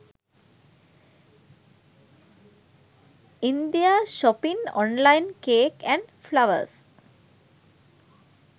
india shopping online cake and flowers